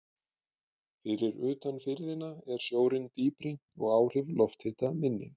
Fyrir utan firðina er sjórinn dýpri og áhrif lofthita minni.